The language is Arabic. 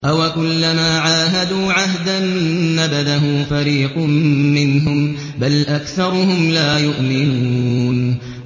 أَوَكُلَّمَا عَاهَدُوا عَهْدًا نَّبَذَهُ فَرِيقٌ مِّنْهُم ۚ بَلْ أَكْثَرُهُمْ لَا يُؤْمِنُونَ